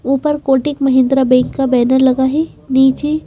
ऊपर कोटिक महिंद्रा बैंक का बैनर लगा है नीचे--